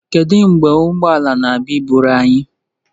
Kedu mgbe ụgbọ ala na-abịa iburu anyị?